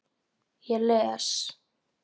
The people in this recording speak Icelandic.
Ég les.